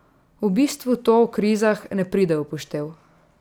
V bistvu to o krizah ne pride v poštev.